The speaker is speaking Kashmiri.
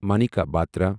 مانیکا بترا